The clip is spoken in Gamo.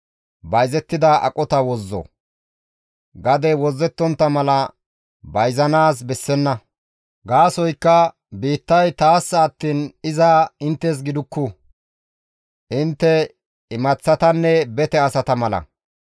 « ‹Gadey wozzettontta mala bayzanaas bessenna; gaasoykka biittay taassa attiin iza inttes gidukku; intte imaththatanne bete asata mala.